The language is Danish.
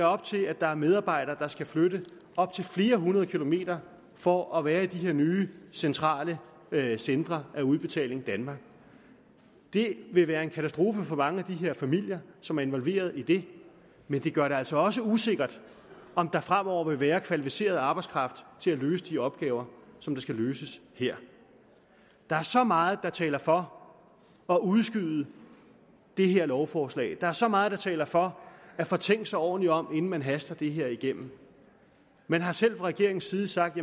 op til at der er medarbejdere der skal flytte op til flere hundrede kilometer for at være i de her nye centrale centre under udbetaling danmark det vil være en katastrofe for mange af de familier som er involveret i det men det gør det altså også usikkert om der fremover vil være kvalificeret arbejdskraft til at løse de opgaver som skal løses her der er så meget der taler for at udskyde det her lovforslag der er så meget der taler for at få tænkt sig ordentligt om inden man haster det her igennem man har selv fra regeringens side sagt